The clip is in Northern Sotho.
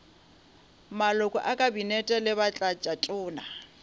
maloko a kabinete le batlatšatona